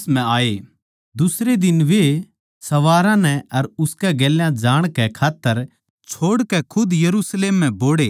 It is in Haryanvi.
दुसरे दिन वे सवारा नै उसकै गेल्या जाणकै खात्तर छोड़कै खुद यरुशलेम म्ह बोहड़ै